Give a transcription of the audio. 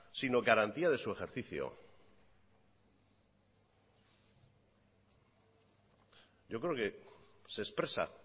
sino garantía de su ejercicio yo creo que se expresa